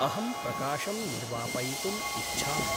अहं प्रकाशं निर्वापयितुम् इच्छामि।